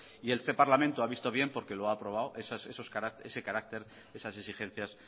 y este parlamento ha visto bien porque lo ha aprobado ese carácter esas exigencias